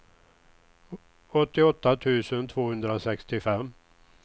åttioåtta tusen tvåhundrasextiofem